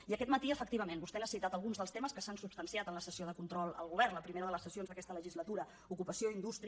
i aquest matí efectivament vostè ha citat alguns dels temes que s’han substanciat en la sessió de control al govern la primera de les sessions d’aquesta legislatura ocupació indústria